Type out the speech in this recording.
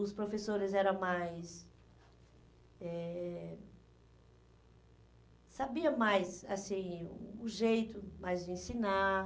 Os professores eram mais... Eh, sabiam mais assim o jeito, mais de ensinar.